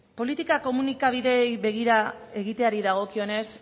politika komunikabideei begira egiteari dagokionez